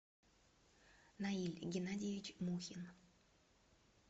наиль геннадьевич мухин